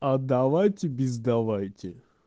а давайте без давайте